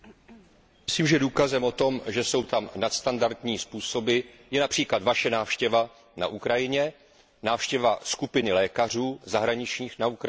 Myslím, že důkazem o tom, že tam jsou nadstandardní způsoby, je například vaše návštěva na Ukrajině, návštěva skupiny zahraničních lékařů na Ukrajině.